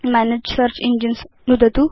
मनगे search engines नुदतु